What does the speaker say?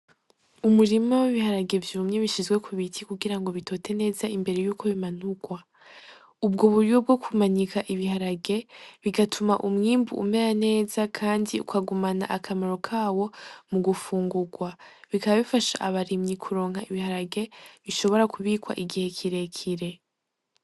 Umurima w'ibiharage vyumye bishizwe ku biti kugira ngo bitote neza imbere y'uko bimanurwa. Ubwo buryo bwo kumanika ibiharage, bigatuma umwimbu umera neza, kandi ukagumana akamaro kawo mu gufungurwa. Bikaba bifasha abarimyi kuronka ibiharage bishobora kubikwa igihe kirekire.